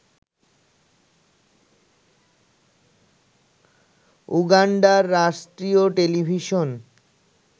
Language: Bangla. উগান্ডার রাষ্ট্রীয় টেলিভিশন